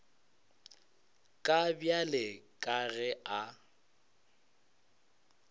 ka bjale ka ge a